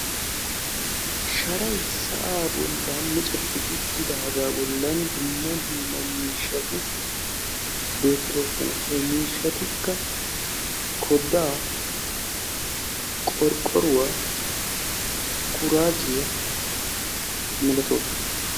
Sharay sa'aa bollan miccettidaagaa bollan dumma dumma miishshati beettoosona. he miishshatikka koddaa, qorqqoruwaa kuraazziyaa milatoosona.